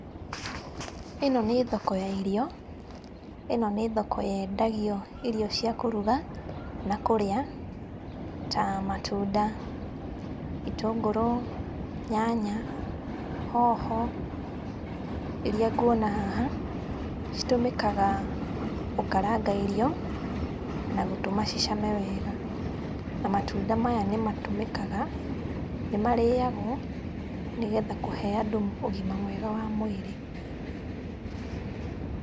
ĩno nĩ thoko ya irio, ĩno nĩ thoko yendagio irio cia kũruga na kũrĩa ta matunda, itũngũrũ, nyanya, hoho. Iria nguona haha citũmĩkaga gũkaranga irio na gũtũma cicame wega. Na matunda maya nĩmatũmĩkaga, nĩmarĩagwo nĩgetha kũhe andũ ũgima mwega wa mwĩrĩ